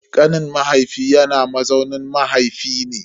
Kanin mahaifi yana mazaunin mahaifi ne.